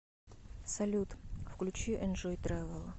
салют включи энжой трэвэл